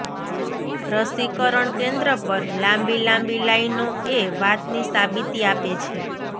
રસીકરણ કેન્દ્ર પર લાંબી લાંબી લાઈનો એ વાતની સાબિતી આપે છે